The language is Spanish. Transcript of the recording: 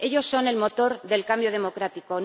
Ellos son el motor del cambio democrático.